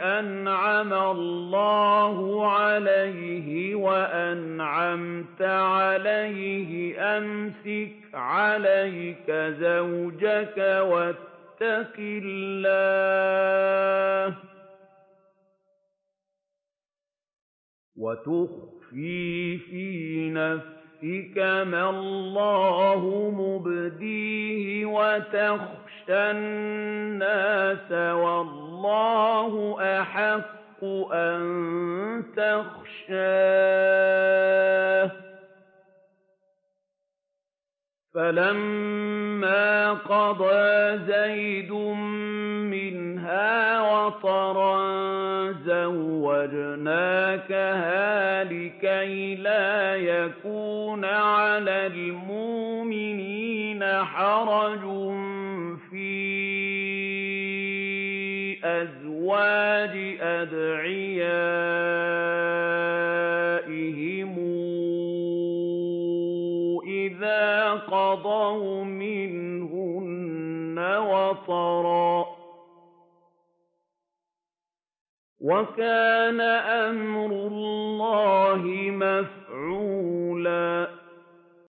أَنْعَمَ اللَّهُ عَلَيْهِ وَأَنْعَمْتَ عَلَيْهِ أَمْسِكْ عَلَيْكَ زَوْجَكَ وَاتَّقِ اللَّهَ وَتُخْفِي فِي نَفْسِكَ مَا اللَّهُ مُبْدِيهِ وَتَخْشَى النَّاسَ وَاللَّهُ أَحَقُّ أَن تَخْشَاهُ ۖ فَلَمَّا قَضَىٰ زَيْدٌ مِّنْهَا وَطَرًا زَوَّجْنَاكَهَا لِكَيْ لَا يَكُونَ عَلَى الْمُؤْمِنِينَ حَرَجٌ فِي أَزْوَاجِ أَدْعِيَائِهِمْ إِذَا قَضَوْا مِنْهُنَّ وَطَرًا ۚ وَكَانَ أَمْرُ اللَّهِ مَفْعُولًا